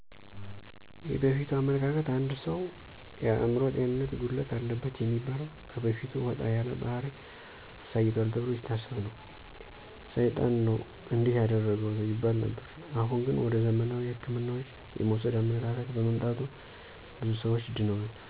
የበፊቱ አመለካከት አንድ ሰው የአምሮ ጤንነት ጉድለት አለበት የሚበላው ከበፊቱ ወጣ ያለ ባሕሪ አሳይቶል ተብሎ ሲታሰብ ነው። ሳይጣን ነው እንዲህ ያደረገው ይባል ነበር። አሁን ግን ወደ ዘመናዊ ህክምናዎች የመውሰድ አመለካከት በመምጣቱ ብዙ ሰዎች ድነዋል።